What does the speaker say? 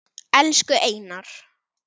Elsku Einar.